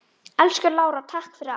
Elsku Lára, takk fyrir allt.